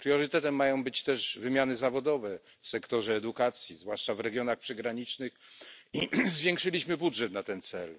Priorytetem mają być też wymiany zawodowe w sektorze edukacji, zwłaszcza w regionach przygranicznych zwiększyliśmy budżet na ten cel.